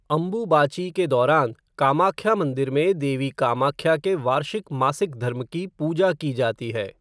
अम्बुबाची के दौरान, कामाख्या मंदिर में देवी कामाख्या के वार्षिक मासिक धर्म की पूजा की जाती है।